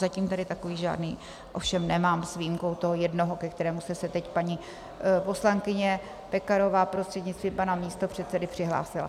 Zatím tady takový žádný ovšem nemám s výjimkou toho jednoho, ke kterému se teď paní poslankyně Pekarová, prostřednictvím pana místopředsedy přihlásila.